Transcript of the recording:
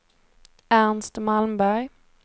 Ernst Malmberg